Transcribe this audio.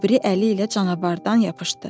O biri əli ilə canavardan yapışdı.